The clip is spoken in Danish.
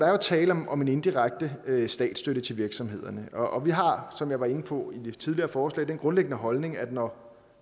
tale om om en indirekte statsstøtte til virksomhederne og vi har som jeg var inde på ved det tidligere forslag den grundlæggende holdning at når